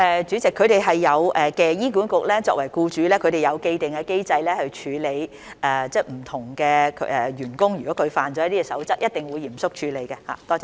主席，醫管局作為僱主，已有既定機制處理員工違反守則的情況，他們一定會嚴肅處理。